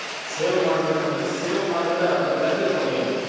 save ಮಾಡ್ ಬೇಕಂದ್ರೆ save ಮಾಡ್ದ್ರೆ ಅದರ್ value ಕಮ್ಮಿ ಆಗುತ್ತೆ.